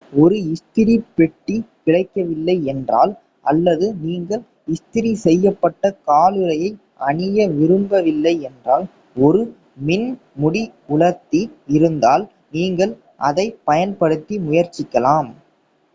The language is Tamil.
ஒரு இஸ்திரி பெட்டி கிடைக்கவில்லை என்றால் அல்லது நீங்கள் இஸ்திரி செய்யப்பட்ட காலுறையை அணிய விரும்பவில்லை என்றால் ஒரு மின் முடி உலர்த்தி இருந்தால் நீங்கள் அதைப் பயன்படுத்தி முயற்சிக்கலாம்